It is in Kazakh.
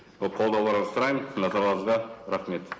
ы қолдауларыңызды сұраймын назарларыңызға рахмет